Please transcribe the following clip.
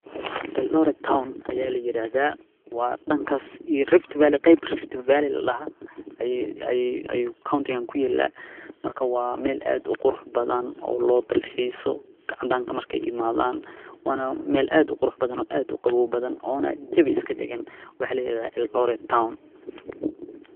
Eldoret Town ayaa la yiraahdaa waa dhankas iyo [Rift Valley, qeyb Rift Valley la dahaa. Ayuu ayuu County ku yeelaa. Marka waa meel aad u qurux badan oo loo dalxiyeyso caadan ka markay imaadaan. Wana meel aad u qurux badan oo aad u qabo badan oona jebi iska degen wax la yiraahdaa Eldoret town.